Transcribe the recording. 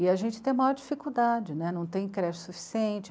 E a gente tem maior dificuldade né, não tem creche suficiente.